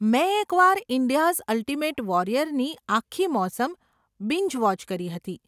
મેં એકવાર 'India's Ultimate Warrior' ની આખી મોસમ બિન્જ વોચ કરી હતી.